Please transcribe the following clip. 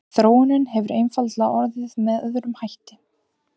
Þróunin hefur einfaldlega orðið með öðrum hætti.